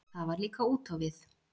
Það var líka út á við.